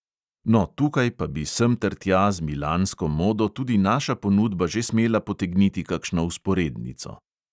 No, tukaj pa bi sem ter tja z milansko modo tudi naša ponudba že smela potegniti kakšno vzporednico.